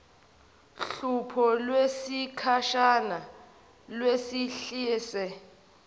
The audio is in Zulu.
hlupho lwesikhashana lwehlise